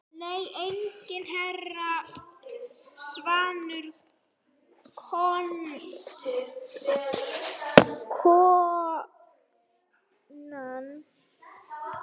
Nei enginn herra svaraði konan.